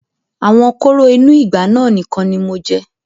Àwọn kóró inú ìgbá náà nìkan ni mo jẹ.'